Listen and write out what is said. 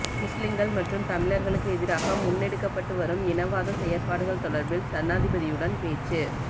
முஸ்லிங்கள் மற்றும் தமிழர்களுக்கு எதிராக முன்னெடுக்கப்பட்டு வரும் இனவாத செயற்பாடுகள் தொடர்பில் ஜனாதிபதியுடன் பேச்சு